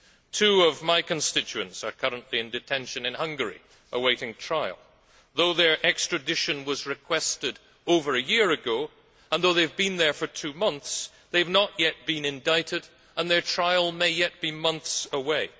Two of my constituents are currently in detention in Hungary awaiting trial. Though their extradition was requested over a year ago, and though they have been there for two months, they have not yet been indicted and their trial may yet be months away.